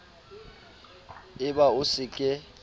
e ba o se ke